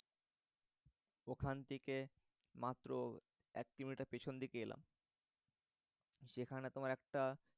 ওখান থেকে মাত্র এক kilometer পিছন দিকে এলাম সেখানে তোমার একটা